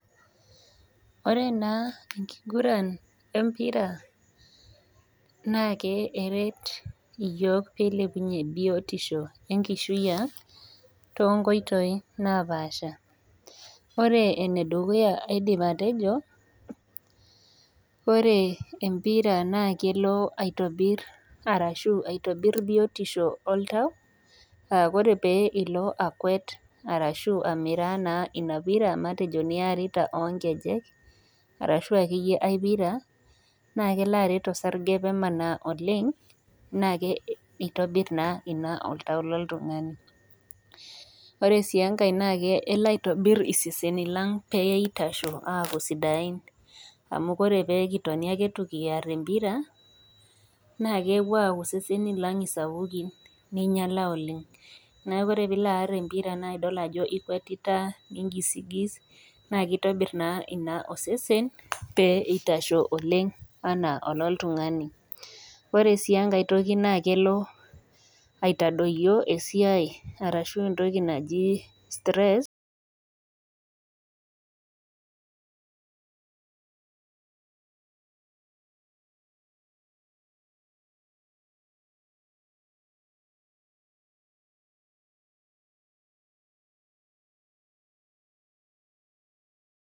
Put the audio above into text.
Ore naa enkiguran empira naa keret yiook eilepunye biotisho enkishui ang too nkoitoi napaasha. Ore enedukuya aidim atejo ore empira naa kelo aitobir biotisho oltau, ore pee ilo akuet arashu amiraa ina pira niarita oo nkejek arashu akeyie ae pira naa kelo aret osarge pee emanaa oleng neitobir naa ina oltau loltungani. Ore sii engae elo aitobir iseseni lang pee eitasho aaku sidain amu pee kitoni ake itu kiarr empira naa kepuo aaku iseseni lang sapukin naa kingiala oleng neaku ore pee ilo aar empira naa idol ajo iikuetita nigisigis naa eitobir naa ina osesen pee eitasho oleng anaa oltungani. Elo sii aitodoyo esiai aashu {stress} .